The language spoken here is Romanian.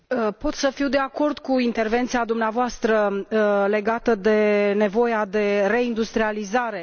Pot să fiu de acord cu intervenția dumneavoastră legată de nevoia de reindustrializare.